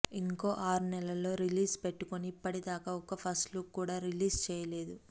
ఇంకో ఆరు నెలల్లో రిలీజ్ పెట్టుకుని ఇప్పటిదాకా ఒక్క ఫస్ట్ లుక్ కూడా రిలీజ్ చేయలేదు